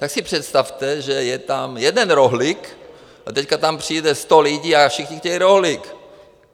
Tak si představte, že je tam jeden rohlík, a teď tam přijde sto lidí a všichni chtějí rohlík.